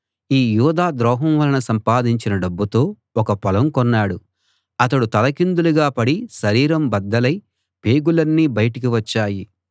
ఈ యూదా ద్రోహం వలన సంపాదించిన డబ్బుతో ఒక పొలం కొన్నాడు అతడు తలకిందులుగా పడి శరీరం బద్దలై పేగులన్నీ బయటికి వచ్చాయి